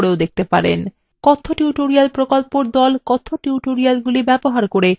কথ্য tutorial প্রকল্প the কথ্য টিউটোরিয়ালগুলি ব্যবহার করে কর্মশালার আয়োজন করে